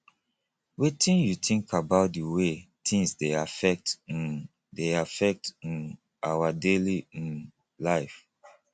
wetin you think about di way tings dey affect um dey affect um our daily um life